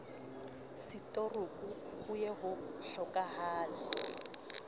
setorouku ho ye ho hlokahale